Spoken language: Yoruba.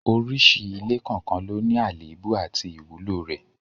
Oríṣi ilé kọ̀ọ̀kan ló ní àléébù àti ìwúlò rẹ̀